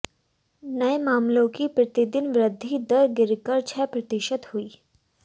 नये मामलों की प्रतिदिन वृद्धि दर गिरकर छह प्रतिशत हुई